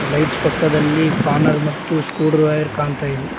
Lights ಪಕ್ಕದಲ್ಲಿ spanner ಮತ್ತು screwdriver ಕಾಣ್ತಾ ಇದೆ.